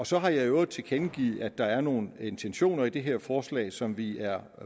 så har jeg i øvrigt tilkendegivet at der er nogle intentioner i det her forslag som vi er